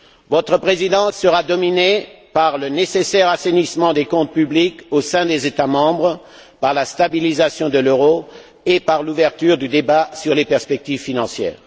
Votre présidence sera dominée par le nécessaire assainissement des comptes publics au sein des États membres, par la stabilisation de l'euro et par l'ouverture du débat sur les perspectives financières.